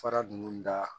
Fara ninnu da